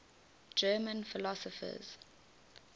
german philosophers